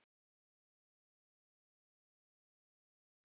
Síðan tók ungur strákur af mér skýrslu.